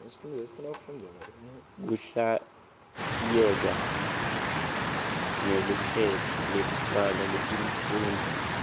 kuhlatiyeka ngelukhetto lekucala letifundvo